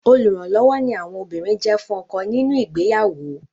Olùrànlọ́wọ́ ni àwọn obìnrin jẹ́ fún ọkọ wọn nínu ìgbéyàwó.